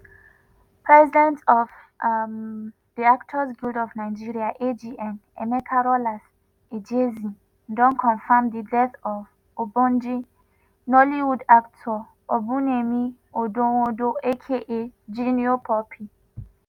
president of um di actors guild of nigeria (agn) emeka rollas ejezie don confam di death of ogbonge nollywood actor obumneme odonwodo aka junior pope.